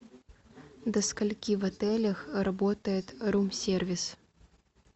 до скольки в отелях работает рум сервис